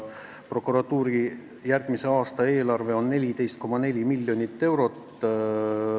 Prokuratuuri järgmise aasta eelarve on 14,4 miljonit eurot.